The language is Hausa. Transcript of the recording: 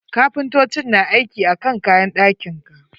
Kapintocin na aiki akan kayan ɗakin ka.